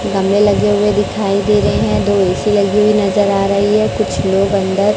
गमले लगे हुए दिखाई दे रहे हैं दो ऐ_सी लगी हुई नजर आ रही है कुछ लोग अंदर--